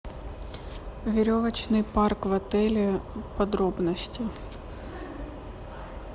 веревочный парк в отеле подробности